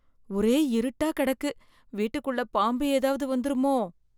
ஒரே இருட்டா கெடக்கு வீட்டுக்குள்ள பாம்பு ஏதாவது வந்துருமோ?